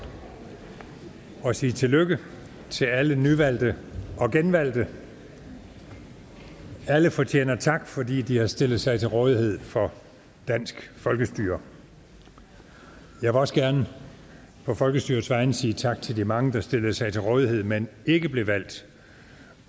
og sige tillykke til alle nyvalgte og genvalgte alle fortjener tak fordi de har stillet sig til rådighed for dansk folkestyre jeg vil også gerne på folkestyrets vegne sige tak til de mange der stillede sig til rådighed men ikke blev valgt